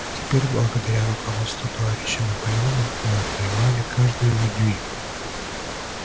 а теперь благодаря руководству товарища наполеона мы отвоевали каждый её дюйм